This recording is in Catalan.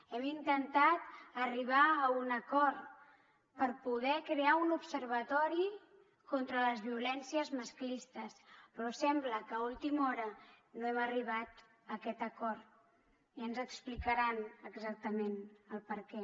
hem intentat arribar a un acord per poder crear un observatori contra les violències masclistes però sembla que a última hora no hem arribat a aquest acord i ja ens explicaran exactament el perquè